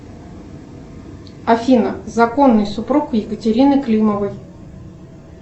афина законный супруг екатерины климовой